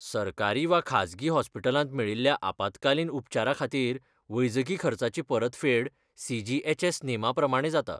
सरकारी वा खाजगी हॉस्पिटलांत मेळिल्ल्या आपत्कालीन उपचारा खातीर वैजकी खर्चाची परतफेड, सी.जी.एच.एस. नेमाप्रमाणें जाता.